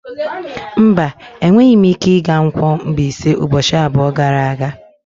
Mba, enweghị m ike ịga Nkwo-Mbaise ụbọchị abụọ gara aga.